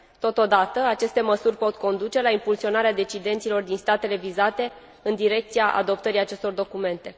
Totodată, aceste măsuri pot conduce la impulsionarea decidenților din statele vizate, în direcția adoptării acestor documente.